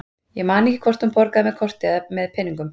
Ég man ekki hvort hún borgaði með korti eða með peningum.